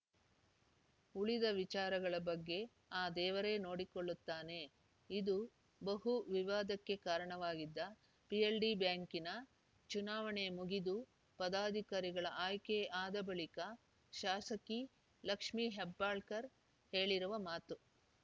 ಉಳಿದ ವಿಚಾರಗಳ ಬಗ್ಗೆ ಆ ದೇವರೇ ನೋಡಿಕೊಳ್ಳುತ್ತಾನೆ ಇದು ಬಹು ವಿವಾದಕ್ಕೆ ಕಾರಣವಾಗಿದ್ದ ಪಿಎಲ್‌ಡಿ ಬ್ಯಾಂಕಿನ ಚುನಾವಣೆ ಮುಗಿದು ಪದಾಧಿಕಾರಿಗಳ ಆಯ್ಕೆ ಆದ ಬಳಿಕ ಶಾಸಕಿ ಲಕ್ಷ್ಮಿ ಹೆಬ್ಬಾಳಕರ್‌ ಹೇಳಿರುವ ಮಾತು